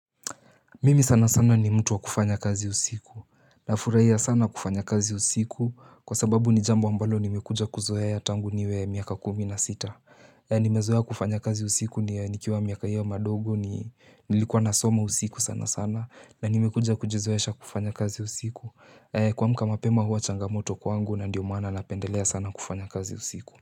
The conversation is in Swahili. Mimi sana sana ni mtu wa kufanya kazi usiku Nafurahia sana kufanya kazi usiku kwa sababu ni jambo ambalo nimekuja kuzoea tangu niwe miaka kumi na sita Nimezoea kufanya kazi usiku ni nikiwa miaka hiyo madogo ni likuwa nasoma usiku sana sana na nimekuja kujizoesha kufanya kazi usiku Kuamka mapema huwa changamoto kwangu na ndiomaana napendelea sana kufanya kazi usiku.